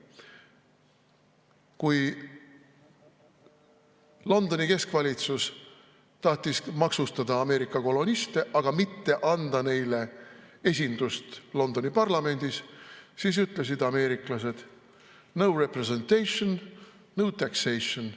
Kui Londoni keskvalitsus tahtis maksustada Ameerika koloniste, aga mitte anda neile esindust Londoni parlamendis, siis ütlesid ameeriklased: "No taxation without representation".